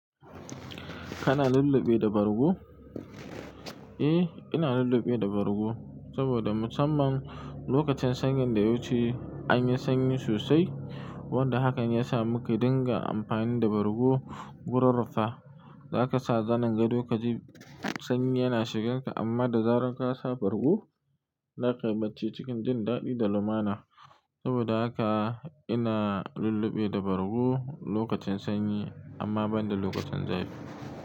Kana lulluɓe da bargo? Eh, ina lulluɓe da bargo saboda musamman lokacin sanyin da ya wuce an yi sanyi sosai wanda hakan ya sa muke dinga amfani da bargo gurin rufa. Zaka sa zanin gado kaji sanyi yana shigar ka amma da zarar ka sa bargo zaka bacci cikin jin daɗi da lumana saboda haka ina lulluɓe da bargo lokacin sanyi amma ban da lokacin zafi.